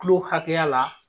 Kulo hakɛya la.